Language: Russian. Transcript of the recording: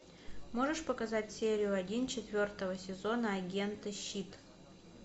можешь показать серию один четвертого сезона агенты щит